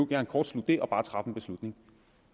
gerne kortslutte det og bare træffe en beslutning